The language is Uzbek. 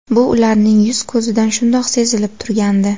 Bu ularning yuz-ko‘zidan shundoq sezilib turgandi.